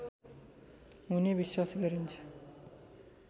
हुने विश्वास गरिन्छ